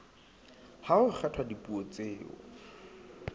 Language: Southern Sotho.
ha ho kgethwa dipuo tseo